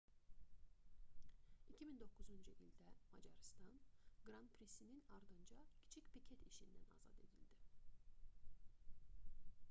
2009-cu ildə macarıstan qran prisinin ardınca kiçik piket işindən azad edildi